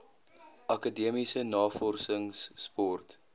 akademiese navorsings sport